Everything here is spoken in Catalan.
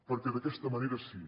perquè d’aquesta manera sí